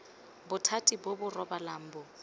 bothati bo bo rebolang bo